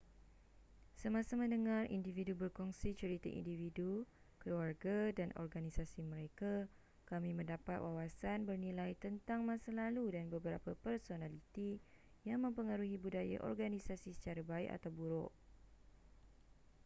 semasa mendengar individu berkongsi cerita individu keluarga dan organisasi mereka kami mendapat wawasan bernilai tentang masa lalu dan beberapa personaliti yang mempengaruhi budaya organisasi secara baik atau buruk